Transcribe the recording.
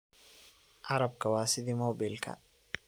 Arabka wa sidhi mobilka.